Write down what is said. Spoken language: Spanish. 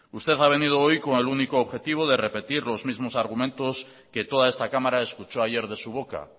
usted ha venido hoy con el único objetivo de repetir los mismos argumentos que toda esta cámara escuchó ayer de su boca